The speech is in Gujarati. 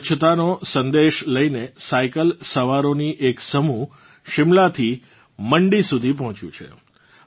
સ્વચ્છતાનો સંદેશ લઇને સાયકલ સવારોની એક સમૂહ શિમલાથી મંડી સુધી પહોચ્યું છે